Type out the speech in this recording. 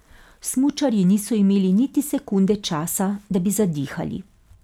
Smučarji niso imeli niti sekunde časa, da bi zadihali.